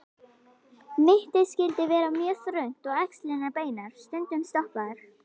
Mittið skyldi vera mjög þröngt og axlirnar beinar, stundum stoppaðar.